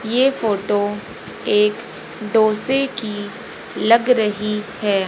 ये फोटो एक डोसे की लग रही है।